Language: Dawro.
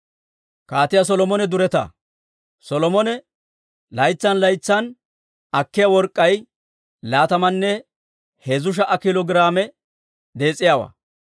Solomone laytsan laytsan akkiyaa work'k'ay laatamanne heezzu sha"a kiilo giraame dees'iyaawaa.